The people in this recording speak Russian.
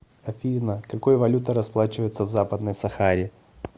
афина какой валютой расплачиваются в западной сахаре